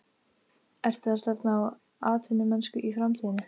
Ertu að stefna á atvinnumennsku í framtíðinni?